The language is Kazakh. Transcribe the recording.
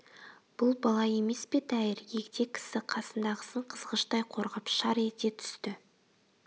бұл бала емес пе тәйір егде кісі қасындағысын қызғыштай қорғап шар ете түсті